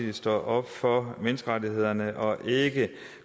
vi står op for menneskerettighederne og ikke